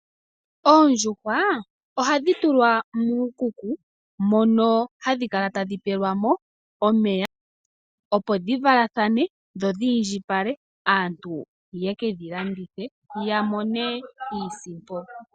Oondjuhwa oha dhi tulwa muukuku, mono hadhi kala tadhi pelwamo omeya, opo dhi valathane, dho dhi indjipale. Aantu ye ke dhi landithe ya mone iisimpo.